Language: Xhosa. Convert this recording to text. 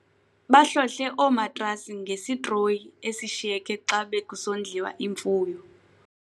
Bahlohle oomatrasi ngesitroyi esishiyeke xa bekusondliwa imfuyo.